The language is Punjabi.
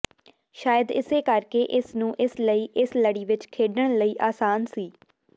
ਸ਼ਾਇਦ ਇਸੇ ਕਰਕੇ ਇਸ ਨੂੰ ਇਸ ਲਈ ਇਸ ਲੜੀ ਵਿਚ ਖੇਡਣ ਲਈ ਆਸਾਨ ਸੀ